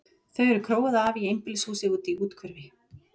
Þau eru króuð af í einbýlishúsi úti í úthverfi.